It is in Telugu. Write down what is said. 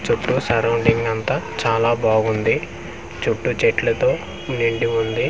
చుట్టూ సరౌండింగ్ అంతా చాలా బాగుంది చుట్టూ చెట్లతో నిండి ఉంది .